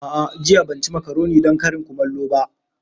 A'a jiya ban ci makaroni don karin kumallo ba.